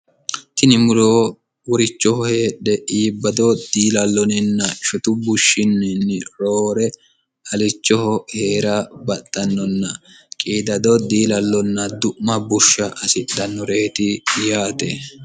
tini muroo worichoho heedhe iibbado diilalloninna shotu bushshinninni roore halichoho heera baxxannonna qiidado diilallonna du'ma bushsha asidhannoreeti yaate